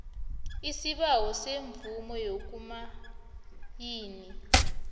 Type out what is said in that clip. isibawo semvumo yokumayina